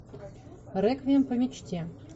реквием по мечте